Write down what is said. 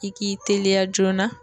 I k'i teliya joona